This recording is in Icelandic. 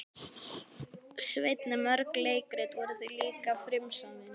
Sveinn en mörg leikrit voru líka frumsamin.